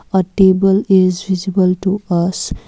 a table is visible to us.